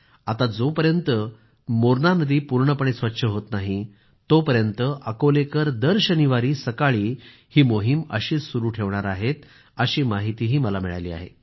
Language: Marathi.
आता जोपर्यंत मोरणा नदी पूर्णपणे स्वच्छ होत नाही तोपर्यंत अकोलेकर दर शनिवारी सकाळी ही मोहीम अशीच सुरू ठेवणार आहेत अशी माहिती मला मिळाली आहे